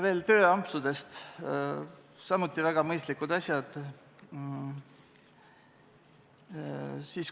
Veel tööampsudest – samuti väga mõistlikud asjad.